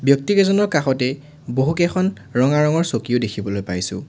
ব্যক্তি কেইজনৰ কাষতে বহু কেইখন ৰঙা ৰঙৰ চকীও দেখিবলৈ পাইছোঁ।